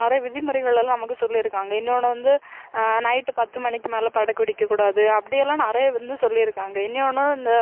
நிறைய விதிமுறைகள் எல்லாம் நமக்கு சொல்லி இருக்காங்க இன்னொன்னு வந்து அஹ் night பத்து மணிக்கு மேலே படக்கு வெடிக்க கூடாது அப்படி எல்லாம் நிறைய வந்து சொல்லியிருக்காங்க இன்யொன்னு இந்த